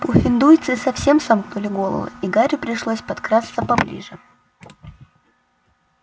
пуффендуйцы совсем сомкнули головы и гарри пришлось подкрасться поближе